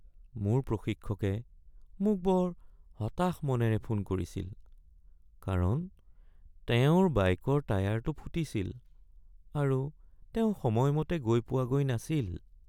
মোৰ প্ৰশিক্ষকে মোক বৰ হতাশ মনেৰে ফোন কৰিছিল কাৰণ তেওঁৰ বাইকৰ টায়াৰটো ফুটিছিল আৰু তেওঁ সময়মতে গৈ পোৱাগৈ নাছিল।